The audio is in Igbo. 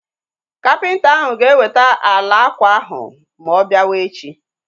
Kapịnta ahu ga eweta ala ákwà ahu ma ọ biawa echi